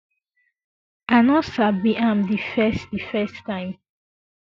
i no sabi am di first di first time